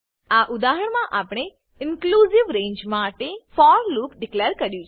આ ઉદાહરણમા આપણે ઇનક્લુંજીવ રેંજ માટે ફોર લૂપ ડીકલેર કર્યું છે